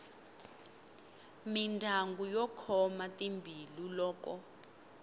mindyangu yo khoma timbilu loko